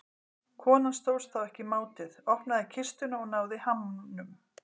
Konan stóðst þá ekki mátið, opnaði kistuna og náði hamnum.